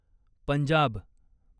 Punjab